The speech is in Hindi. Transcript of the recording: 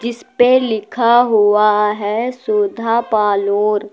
इसपे लिखा हुआ है सुधा पालोर ।